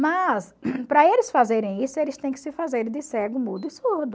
Mas, para eles fazerem isso, eles têm que se fazerem de cego, mudo e surdo.